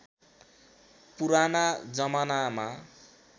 पुराना जमानामा